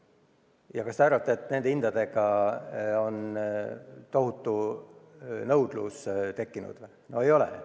Ja kas te arvate, et nende hindadega on tohutu nõudlus tekkinud?